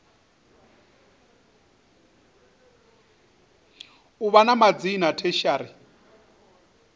u vha na madzina tertiary